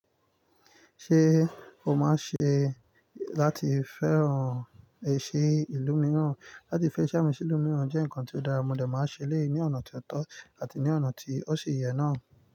Ṣé o máa ṣe láti fẹ́ran èsì ìlú mìíràn? Látí fẹ́ ṣàmísì ìlú mìíràn jẹ́ nǹkan tó dára, mo dà máa ṣèléyi ní ọ̀nà tó tọ́ àti ní ọ̀nà tí ó ṣi yẹ náà.